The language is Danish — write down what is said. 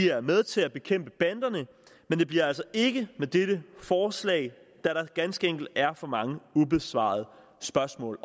er med til at bekæmpe banderne men det bliver altså ikke med dette forslag da der ganske enkelt er for mange ubesvarede spørgsmål